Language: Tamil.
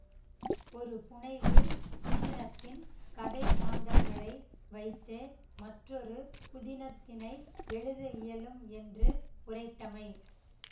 ஒரு புனைவு புதினத்தின் கதைமாந்தர்களை வைத்தே மற்றொரு புதினத்தினை எழுத இயலும் என்று உரைத்தமை